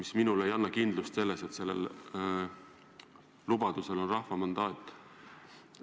See ei anna kindlust öelda, et selle lubaduse täitmiseks on rahva mandaat.